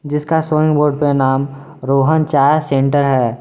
जिसका showing board पे नाम रोहन चाय सेंटर है।